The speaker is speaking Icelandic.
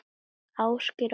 Ásgeir og Ólöf.